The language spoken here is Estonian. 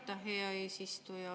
Aitäh, hea eesistuja!